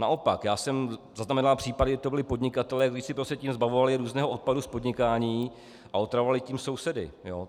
Naopak, já jsem zaznamenal případy, kdy to byli podnikatelé, kteří se tím zbavovali různého odpadu z podnikání a otravovali tím sousedy.